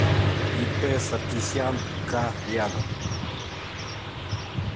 ип саркисян ка рядом